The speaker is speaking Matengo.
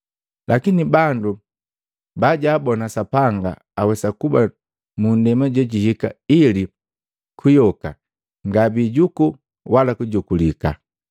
lakini bandu bajaabona Sapanga awesa kuba mu ndema jejihika ili kuyoka ngabiijuku wala kujukulika.